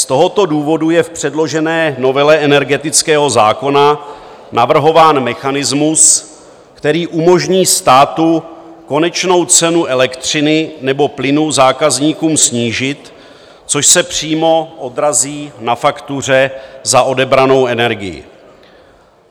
Z tohoto důvodu je v předložené novele energetického zákona navrhován mechanismus, který umožní státu konečnou cenu elektřiny nebo plynu zákazníkům snížit, což se přímo odrazí na faktuře za odebranou energii.